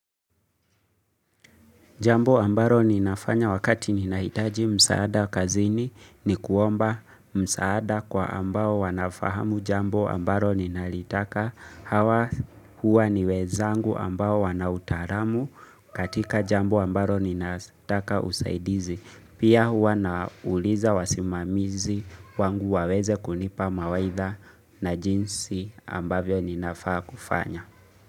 Jambo ambalo ninafanya wakati ninahitaji msaada kazini, ni kuomba msaada kwa ambao wanafahamu jambo ambalo ninalitaka, hawa Huwa ni wenzangu ambao wana utaalamu katika jambo ambalo ninataka usaidizi. Pia huwa nauliza wasimamizi wangu waweze kunipa mawaidha na jinsi ambavyo ninafaa kufanya.